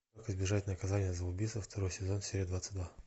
как избежать наказания за убийство второй сезон серия двадцать два